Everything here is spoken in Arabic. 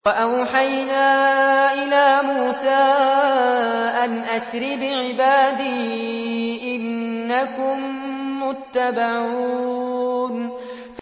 ۞ وَأَوْحَيْنَا إِلَىٰ مُوسَىٰ أَنْ أَسْرِ بِعِبَادِي إِنَّكُم مُّتَّبَعُونَ